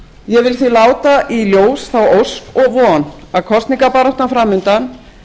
ég vil því láta í ljós þá ósk og von að kosningabaráttan fram undan